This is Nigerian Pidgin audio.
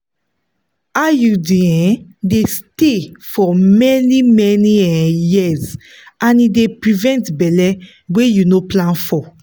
iud um dey stay for many-many um years and e dey prevent belle wey you no plan for.